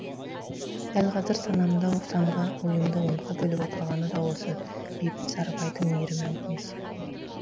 дәл қазір санамды санға ойымды онға бөліп отырғаны да осы бейбіт сарыбайдың мейірім әңгімесі